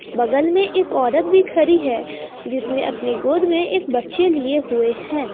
बगल में एक औरत भी खड़ी है जिसने अपनी गोद में एक बच्चे लिए हुए हैं।